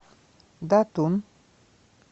датун